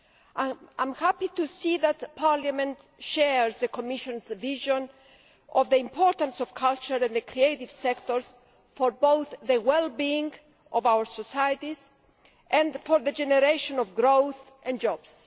I am happy to see that Parliament shares the Commission's vision of the importance of culture in the creative sectors for both the well being of our societies and for the generation of growth and jobs.